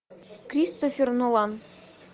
кристофер нолан